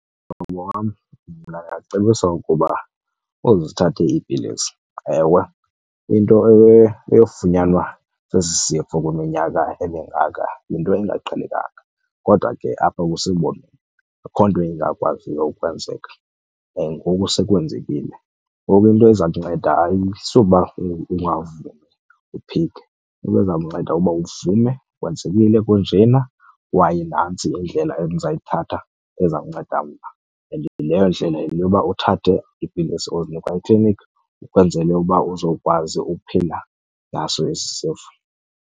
Mhlobo wam, mna ndingakucebisa ukuba uzithathe iipilisi. Ewe, into eyofunyanwa sesi sifo ukwiminyaka emingaka yinto engaqhelekanga kodwa ke apha kuSimboni akho nto ingakwaziyo ukwenzeka and ngoku sekwenzekile. Ngoku into eza kunceda ayisuba ungavumi uphike, into eza kunceda kuba uvume kwenzekile kunjena kwaye nantsi indlela endizayithatha eza kunceda mna. And leyo ndlela yile yoba uthathe iipilisi ozinikwa ekliniki ukwenzele uba uzokwazi ukuphila naso esi sifo.